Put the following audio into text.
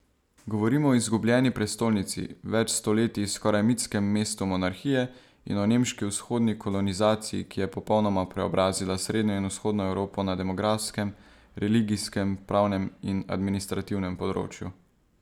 Govorim o izgubljeni prestolnici, več stoletij skoraj mitskem mestu monarhije, in o nemški vzhodni kolonizaciji, ki je popolnoma preobrazila srednjo in vzhodno Evropo na demografskem, religijskem, pravnem in administrativnem področju.